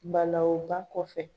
Balawu ba kɔfɛ.